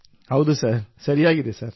ಹೌದು ಸರ್ ಸರಿಯಾಗಿದೆ ಸರ್